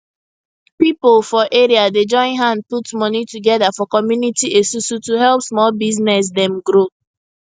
pipo for area dey join hand put money together for community esusu to help small business dem grow